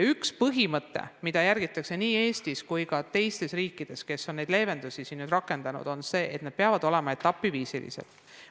Üks põhimõte, mida järgitakse nii Eestis kui ka teistes riikides, kus on leevendusi rakendatud, on see, et need sammud peavad olema etapiviisilised.